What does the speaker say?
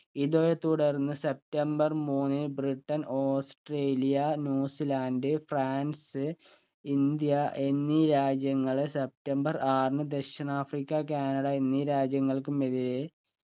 ഇതേ തുടർന്ന് സെപ്തംബർ മൂന്നിന് Britain Australia New Zealand France India എന്നീ രാജ്യങ്ങളെ സെപ്റ്റംബർ ആറിന് ദക്ഷിണാഫ്രിക്ക കാനഡ എന്നീ രാജ്യങ്ങൾക്കും ഇതേ